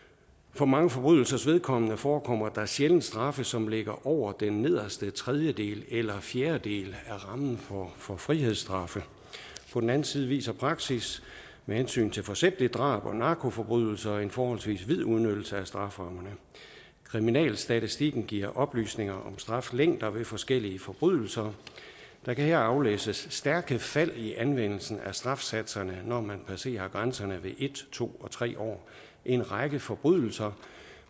for mange forbrydelsers vedkommende forekommer der sjældent straffe som ligger over den nederste tredjedel eller fjerdedel af rammen for frihedsstraffe på den anden side viser praksis med hensyn til forsætligt drab og narkoforbrydelser en forholdsvis vid udnyttelse af strafferammerne kriminalstatistikken giver oplysninger om straflængder ved forskellige forbrydelser der kan aflæses stærke fald i anvendelsen af strafsatserne når man passerer grænserne ved en to og tre år en række forbrydelser